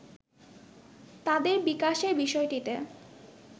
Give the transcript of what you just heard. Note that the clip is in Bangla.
তাদের বিকাশের বিষয়টিতে